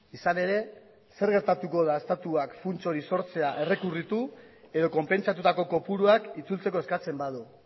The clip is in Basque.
izan ere zer gertatuko da estatuak funts hori sortzea errekurritu edo konpentzatutako kopuruak itzultzeko eskatzen badu